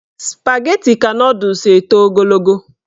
Spageti ka nọdụs eto ogologo.